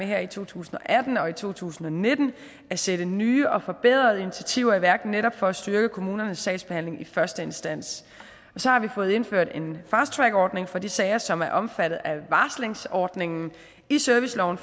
her i to tusind og atten og to tusind og nitten at sætte nye og forbedrede initiativer i værk netop for at styrke kommunernes sagsbehandling i første instans og så har vi fået indført en fasttrackordning for de sager som er omfattet af varslingsordningen i serviceloven